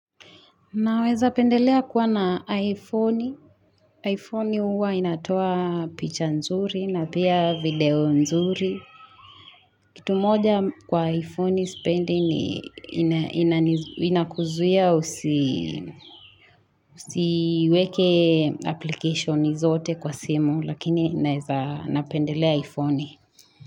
Naweza pendelea kuwa na iPhone. iPhone huwa inatoa picha nzuri na pia video nzuri. Kitu moja kwa iPhone sipendi ni inakuzia usi usiweke application zote kwa simu lakini naweza napendelea iPhone.